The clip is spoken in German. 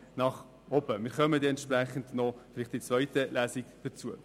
wir kommen vielleicht in der zweiten Lesung noch dazu.